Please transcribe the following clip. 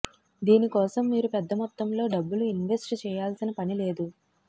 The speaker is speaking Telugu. దీని కోసం మీరు పెద్ద మొత్తంలో డబ్బులు ఇన్వెస్ట్ చేయాల్సిన పని లేదు